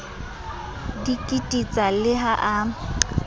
di kititsa le ha a